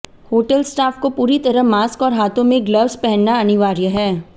hotel staff को पूरी तरह मास्क और हाथों में ग्लव्स पहनना अनिवार्य है